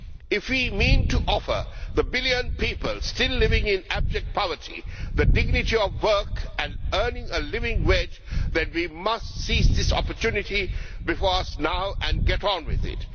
If we mean to offer the billion people still living in abject poverty the dignity of work and of earning a living wage, then we must seize this opportunity before us now and get on with it.